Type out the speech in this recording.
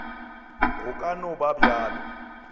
go ka no ba bjalo